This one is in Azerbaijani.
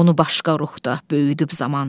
Onu başqa ruhda böyüdüb zaman.